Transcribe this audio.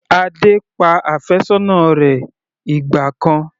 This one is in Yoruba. Adé pa àfẹ́sọ́nà rẹ̀ ìgbà kan.